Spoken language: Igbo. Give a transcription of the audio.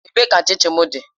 Ebee ka chin chin m dị?